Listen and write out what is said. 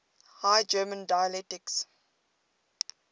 high german dialects